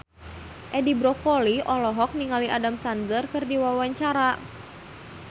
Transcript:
Edi Brokoli olohok ningali Adam Sandler keur diwawancara